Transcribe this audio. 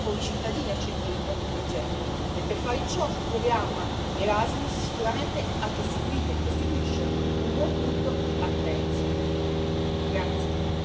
L'Unione deve ritornare a essere una comunità, a porre i cittadini al centro del proprio progetto e, per fare ciò, il programma Erasmus sicuramente ha costituito e costituisce un buon punto di partenza.